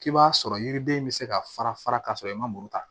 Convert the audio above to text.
K'i b'a sɔrɔ yiriden bɛ se ka fara fara ka sɔrɔ i ma muru ta